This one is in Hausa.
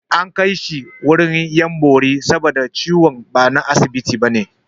An kai shi wurin 'yan bori saboda ciwon ba na asibiti ba ne